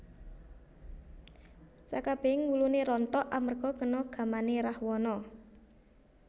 Sekabehing wulune rontok amarga kena gamane Rahwana